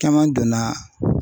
Caman donna